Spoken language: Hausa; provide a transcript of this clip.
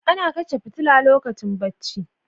Ana kashe fitila lokacin bacci.